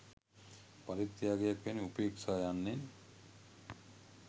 පරිත්‍යාගයක් වැනි උපේක්‍ෂා යන්නෙන්